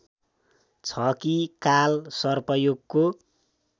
छ कि कालसर्पयोगको